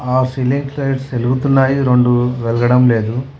ఆ ceiling lights వెలుగుతున్నాయి రెండు వెలగడం లేదు.